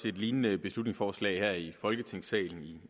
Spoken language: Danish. et lignende beslutningsforslag her i folketingssalen i